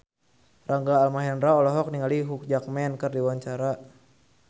Rangga Almahendra olohok ningali Hugh Jackman keur diwawancara